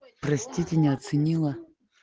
простите не оценила